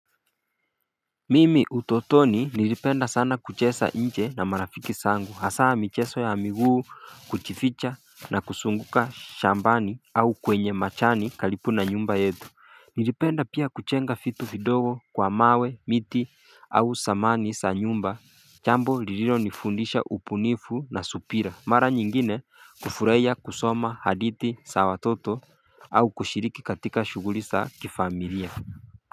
Mimi utotoni nilipenda sana kuchesa nje na marafiki sangu hasaa micheso ya amiguu kuchificha na kusunguka shambani au kwenye machani kalipu na nyumba yetu Nilipenda pia kuchenga fitu fidogo kwa mawe miti au samani sa nyumba chambo lililo nifundisha upunifu na supira Mara nyingine kufureya kusoma hadihti sa watoto au kushiriki katika shuguri sa kifamilia.